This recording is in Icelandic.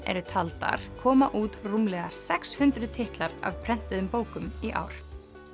eru taldar komu út rúmlega sex hundruð titlar af prentuðum bókum komu í ár